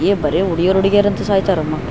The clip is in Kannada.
ಬರೇ ಹುಡಿಗ್ಯಾರು ಹುಡಿಗ್ಯಾರು ಅಂತ ಸಾಯ್ತಾರೆ ಮಕ್ಳು --